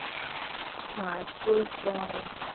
હા, school friends